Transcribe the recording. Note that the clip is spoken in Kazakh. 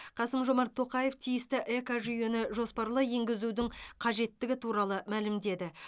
қасым жомарт тоқаев тиісті экожүйені жоспарлы енгізудің қажеттігі туралы мәлімдеді